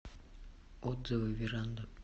отзывы веранда